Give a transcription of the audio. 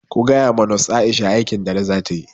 Kuce ma nos Aisha aikin dare zata yi!